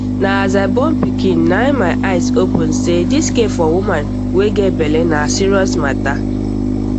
na as i born pikin na my eye open say dis care for woman wey get belle na serious mata